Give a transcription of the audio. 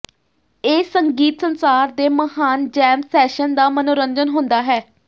ਇਹ ਸੰਗੀਤ ਸੰਸਾਰ ਦੇ ਮਹਾਨ ਜੈਮ ਸੈਸ਼ਨ ਦਾ ਮਨੋਰੰਜਨ ਹੁੰਦਾ ਹੈ